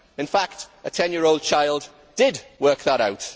In fact a 10 year old child did work that out.